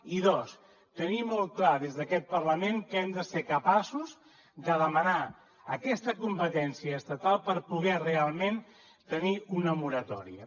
i dos tenir molt clar des d’aquest parlament que hem de ser capaços de demanar aquesta competència estatal per poder realment tenir una moratòria